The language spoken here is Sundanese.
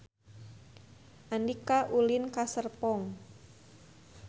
Andika ulin ka Serpong